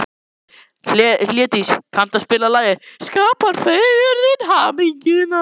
Hlédís, kanntu að spila lagið „Skapar fegurðin hamingjuna“?